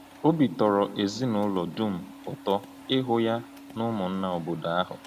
Obi tọrọ ezinụlọ dum ụtọ ịhụ ya na ụmụnna obodo ahụ.